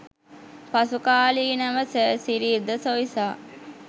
පසුකාලීනව sir Cyril de Soysa